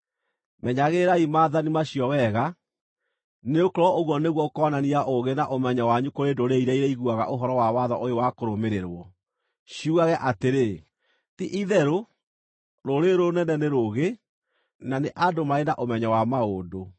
Menyagĩrĩrai maathani macio wega, nĩgũkorwo ũguo nĩguo ũkoonania ũũgĩ na ũmenyo wanyu kũrĩ ndũrĩrĩ iria irĩiguaga ũhoro wa watho ũyũ wa kũrũmĩrĩrwo, ciugage atĩrĩ, “Ti-itherũ rũrĩrĩ rũrũ rũnene nĩ rũũgĩ na nĩ andũ marĩ na ũmenyo wa maũndũ.”